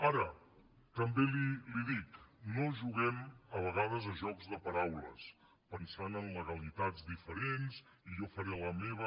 ara també li ho dic no juguem a vegades a jocs de paraules pensant en legalitats diferents i jo faré la meva